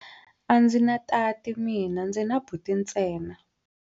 A ndzi na tati mina, ndzi na buti ntsena.